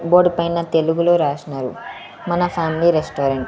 Board పైన తెలుగులో రాసినారు మన ఫ్యామిలీ రెస్టారెంట్ .